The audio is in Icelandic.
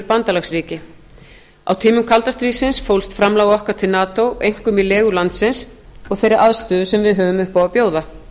bandalagsríki á tímum kalda stríðsins fólst framlag okkar til nato einkum í legu landsins og þeirri aðstöðu sem við höfðum upp á að bjóða